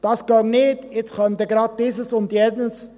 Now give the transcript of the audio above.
Das gehe nicht, jetzt käme gleich dieses und jenes.